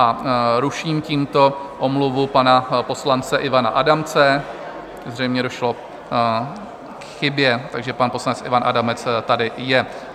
- A ruším tímto omluvu pana poslance Ivana Adamce, zřejmě došlo k chybě, takže pan poslanec Ivan Adamec tady je.